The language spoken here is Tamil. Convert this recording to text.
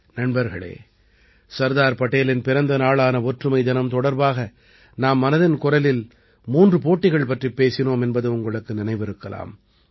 நண்பர்களே சர்தார் படேலின் பிறந்த நாளான ஒற்றுமை தினம் தொடர்பாக நாம் மனதின் குரலில் மூன்று போட்டிகள் பற்றிப் பேசினோம் என்பது உங்களுக்கு நினைவிருக்கலாம்